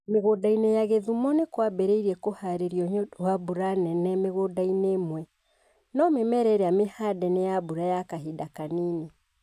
Mĩgũndainĩ ya Kisumu nĩ kwambĩrĩirie kũhaarĩrio nĩ ũndũ wa mbura nene mĩgũnda-inĩ ĩmwe, no mĩmera ĩrĩa mĩhande nĩ ya mbura ya kahinda kanini